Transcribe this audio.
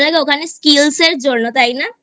ওখানে Skills এর জন্য তাই না?